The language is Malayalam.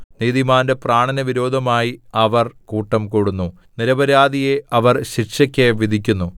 നീതിമാന്റെ പ്രാണന് വിരോധമായി അവർ കൂട്ടം കൂടുന്നു നിരപരാധിയെ അവർ ശിക്ഷയ്ക്ക് വിധിക്കുന്നു